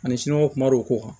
Ani kuma dɔw ko kan